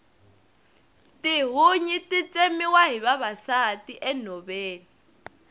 tihunyi ti tsemiwa hi vavasati enhoveni